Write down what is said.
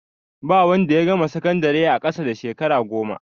Ba wanda ya gama sakandire a ƙasa da shekara goma.